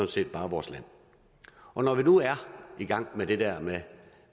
set bare vores land når vi nu er i gang med det der med